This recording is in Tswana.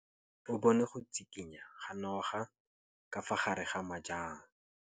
O bone go tshikinya ga noga ka fa gare ga majang.